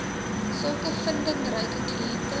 sulke vindingryke kliente